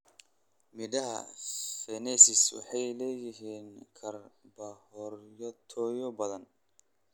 Midhaha fenesi waxay leeyihiin karbohaydraytyo badan.